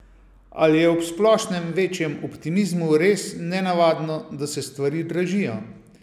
Ali je ob splošnem večjem optimizmu res nenavadno, da se stvari dražijo?